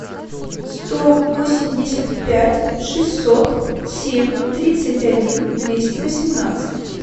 сто восемьдесят пять шестьсот семь тридцать один двести восемнадцать